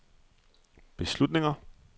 beslutninger